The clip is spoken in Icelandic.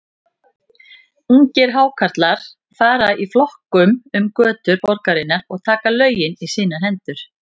Ungir Hákarlar fara í flokkum um götur borgarinnar og taka lögin í sínar hendur.